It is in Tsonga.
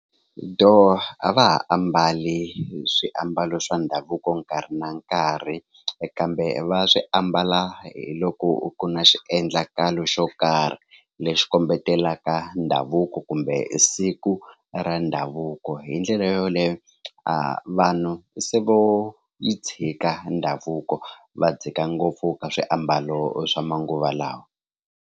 Dooh a va ha ambali swiambalo swa ndhavuko nkarhi na nkarhi kambe va swi ambala hi loko ku na xiendlakalo xo karhi lexi kombelaka ndhavuko kumbe siku ra ndhavuko hi ndlela yoleyo a vanhu se vo yi tshika ndhavuko va dzika ngopfu ka swiambalo swa manguva lawa.